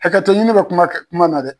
Hakɛto ɲini bɛ kuma kuma na dɛ